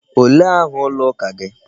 Olee aha ụlọ ụka gị?